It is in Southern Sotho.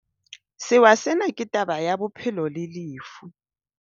Sewa sena ke taba ya bophelo le lefu.